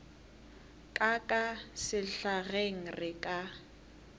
ka ka sehlageng re ka